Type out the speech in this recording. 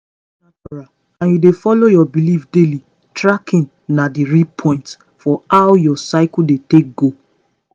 if you dey natural and you dey follow your belief daily tracking na the real point for how your cycle take dey go.